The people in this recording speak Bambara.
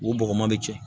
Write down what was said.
U bɔgɔ man di cɛ